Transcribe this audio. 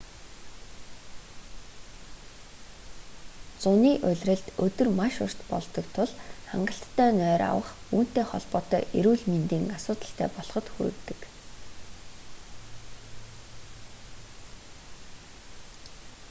зуны улиралд өдөр маш урт болдог тул хангалттай нойр авах үүнтэй холбоотой эрүүл мэндийн асуудалтай болоход хүргэдэг